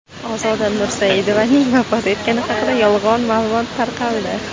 Ozoda Nursaidovaning vafot etgani haqida yolg‘on ma’lumot tarqaldi .